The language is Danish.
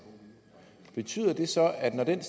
betyder det så at når den